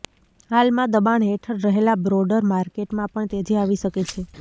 હાલમાં દબાણ હેઠળ રહેલા બ્રોડર માર્કેટમાં પણ તેજી આવી શકે છે